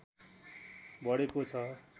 बढेको छ